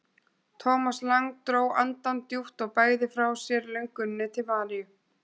Thomas Lang dró andann djúpt og bægði frá sér lönguninni til Maríu.